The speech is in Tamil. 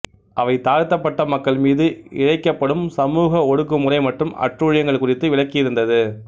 அவை தாழ்த்தப்பட்ட மக்கள் மீது இழைக்கப்படும் சமூக ஒடுக்குமுறை மற்றும் அட்டூழியங்கள் குறித்து விளக்கியிருந்தது